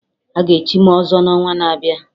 Aga echi m ọzọ n'ọnwa na-abịa